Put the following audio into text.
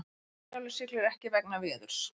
Herjólfur siglir ekki vegna veðurs